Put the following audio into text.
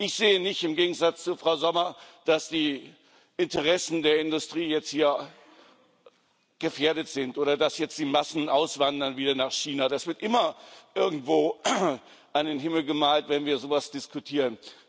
Ich sehe nicht im Gegensatz zu Frau Sommer dass die Interessen der Industrie jetzt hier gefährdet sind oder dass jetzt die Massen wieder nach China auswandern. Das wird immer irgendwo an den Himmel gemalt, wenn wir sowas diskutieren.